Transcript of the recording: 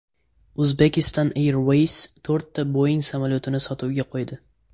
Uzbekistan Airways to‘rtta Boeing samolyotini sotuvga qo‘ydi.